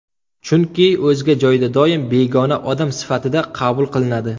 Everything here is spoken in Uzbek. Chunki o‘zga joyda doim begona odam sifatida qabul qilinadi.